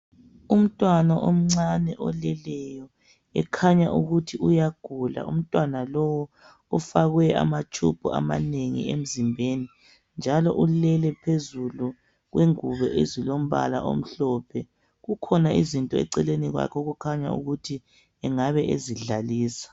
Umntwana omcane oleleyo ekhanya ukuthi uyagula, umntwana lowu ufakwe amatube amanengi emzimbeni ,njalo ulele phezulu kwengubo ezilombala omhlophe ,kukhona izinto eceleni kwakhe okukhanya ukuthi engabe ezidlalisa.